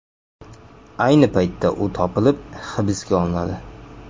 Ayni paytda u topilib, hibsga olinadi.